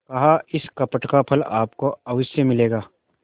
कहाइस कपट का फल आपको अवश्य मिलेगा